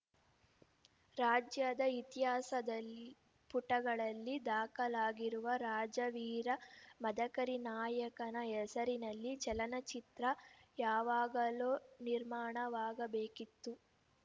ರಾಜ್ಯದ ಇತಿಹಾಸದ ಪುಟಗಳಲ್ಲಿ ದಾಖಲಾಗಿರುವ ರಾಜವೀರ ಮದಕರಿ ನಾಯಕನ ಹೆಸರಿನಲ್ಲಿ ಚಲನಚಿತ್ರ ಯಾವಾಗಲೋ ನಿರ್ಮಾಣವಾಗಬೇಕಿತ್ತು